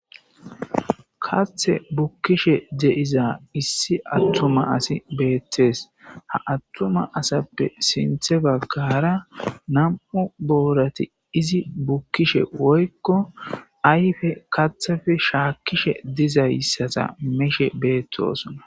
kathe bukkishe deiza issi attuma asi beettees ha attuma asappe sinthe baggara nam7u boorati izi bukkishe woykko ayfe kathefe shaakkishe dizayssata meshe beettosona